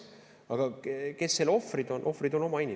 Aga kes selle ohvrid on?